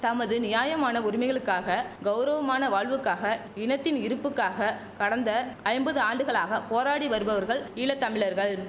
தமது நியாயமான உரிமைகளுக்காக கௌரவமான வாழ்வுக்காக இனத்தின் இருப்புக்காக கடந்த ஐம்பது ஆண்டுகளாக போராடி வருபவர்கள் ஈழ தமிழர்கள்